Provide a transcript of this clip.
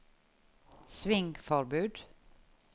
svingforbud